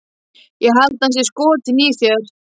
Ég held að hann sé skotinn í þér